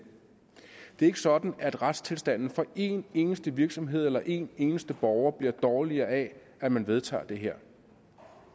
er ikke sådan at retstilstanden for en eneste virksomhed eller en eneste borger bliver dårligere af at man vedtager det her